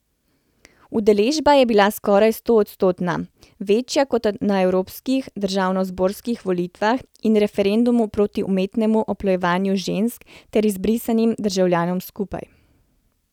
Udeležba je bila skoraj stoodstotna, večja kot na evropskih, državnozborskih volitvah in referendumu proti umetnemu oplojevanju žensk ter izbrisanim državljanom skupaj.